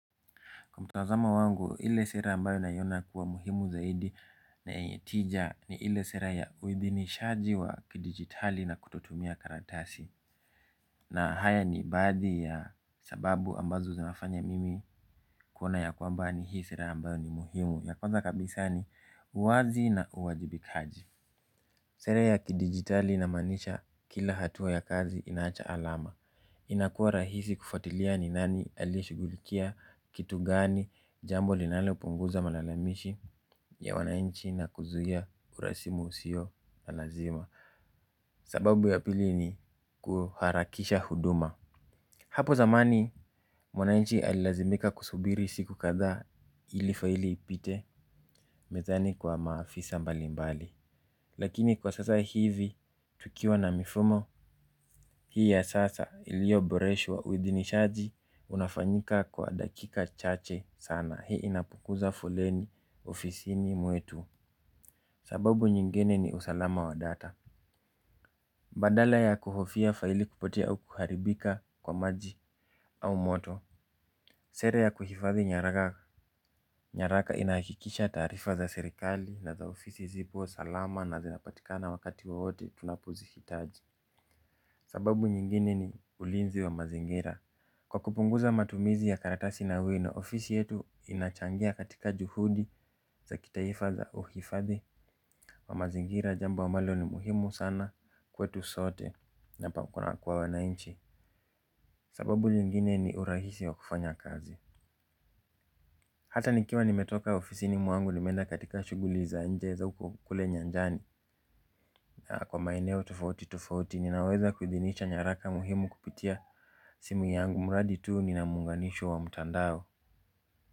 Kwa mtazamo wangu, ile sera ambayo nayona kuwa muhimu zaidi na yenye tija ni ile sera ya uibinishaji wa kidigitali na kutotumia karatasi. Na haya ni badi ya sababu ambazo zinafanya mimi kuona ya kwamba ni hii sera ambayo ni muhimu. Ya kwanza kabisa ni uwazi na uwajibikaji. Sera ya kidigitali namanisha kila hatua ya kazi inaacha alama. Inakua rahisi kufatilia ni nani aliyeshugulikia kitu gani jambo linalo punguza malalamishi ya wanainchi na kuzuia urasimu usio na lazima. Sababu ya pili ni kuharakisha huduma. Hapo zamani mwanainchi alilazimika kusubiri siku katha ili faili ipite mezani kwa maafisa mbalimbali. Lakini kwa sasa hivi tukiwa na mifumo hii ya sasa ilioboreshwa withinishaji unafanyika kwa dakika chache sana hii inapukuza foleni ofisini muetu. Sababu nyingine ni usalama wa data. Badala ya kuhofia faili kupotea au kuharibika kwa maji au moto. Sera ya kuhifadhi nyaraka. Nyaraka inakikisha tarifa za serikali na za ofisi zipo salama na zinapatikana wakati wowote tunapozihitaji. Sababu nyingine ni ulinzi wa mazingira. Kwa kupunguza matumizi ya karatasi na wino ofisi yetu inachangia katika juhudi za kitaifa za uhifadhi wa mazingira jambo ambalo ni muhimu sana kwetu sote na pa kuna kuwa wanainchi. Sababu nyingine ni urahisi wa kufanya kazi. Hata nikiwa nimetoka ofisini muangu nimeenda katika shuguli za nje za kule nyanjani. Na kwa maeneo tofauti tofauti ninaweza kuthinisha nyaraka muhimu kupitia simu yangu muradi tuu nina munganisho wa mutandao.